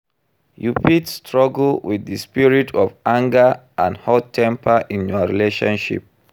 you fit struggle with di spirit of anger and hot-temper in your relationship.